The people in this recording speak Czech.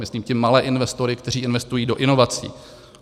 Myslím tím malé investory, kteří investují do inovací.